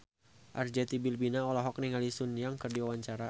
Arzetti Bilbina olohok ningali Sun Yang keur diwawancara